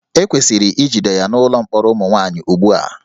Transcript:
E kwesịrị ijide ya n'ụlọ mkpọrọ ụmụ nwaanyị ugbu a